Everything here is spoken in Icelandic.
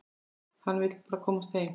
Hann vill bara komast heim.